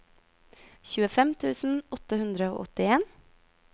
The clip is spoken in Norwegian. tjuefem tusen åtte hundre og åttien